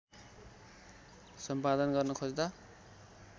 सम्पादन गर्न खोज्दा